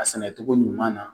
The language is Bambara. A sɛnɛcogo ɲuman na